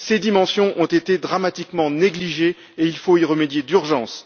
Ces dimensions ont été dramatiquement négligées et il faut y remédier d'urgence!